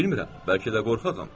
Bilmirəm, bəlkə də qorxağam.